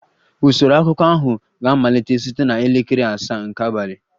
Usoro akụkọ ahụ ga-amalite site na elekere asaa nke abalị